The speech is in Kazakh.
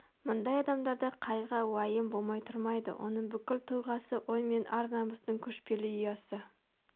мұндай адамдарда қайғы-уайым болмай тұрмайды оның бүкіл тұлғасы ой мен ар-намыстың көшпелі ұясы